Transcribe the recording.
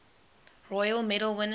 royal medal winners